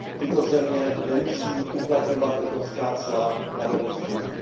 Tyto země nemusí uplatňovat evropská cla na dovoz zboží.